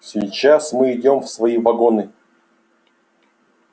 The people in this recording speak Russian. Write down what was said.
сейчас мы идём в свои вагоны